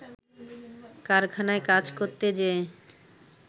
কারখানায় কাজ করতে যেয়ে